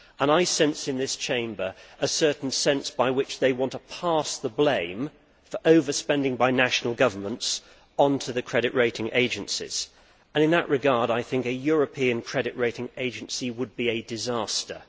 I sense in this Chamber a certain sense by which they want to pass the blame for overspending by national governments onto the credit rating agencies and in that regard I think a European credit ratings agency would be a disaster.